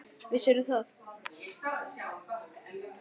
Vissirðu það?